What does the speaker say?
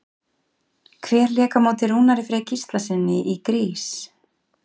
Hver lék á móti Rúnari Frey Gíslasyni í Grease?